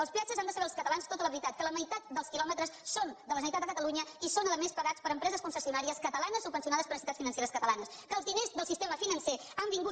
dels peatges han de saber els catalans tota la veritat que la meitat dels quilòmetres són de la generalitat de catalunya i són a més pagats per empreses concessionàries catalanes subvencionades per entitats financeres catalanes que els diners del sistema financer han vingut